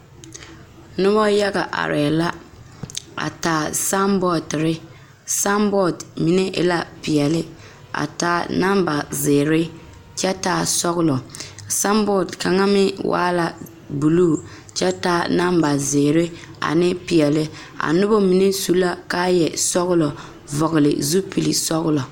Noba yaga arɛɛ la a taa sanbɔɔtiri sanbɔɔt mine e la peɛle a taa namba zeere kyɛ taa sɔgelɔ sanbɔɔt kaŋa meŋ waa la buluu kyɛ taa namba zeere ane peɛle a noba mine su la kaayɛ sɔgelɔ vɔgele zupili sɔgelɔ